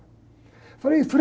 Eu falei, Frei!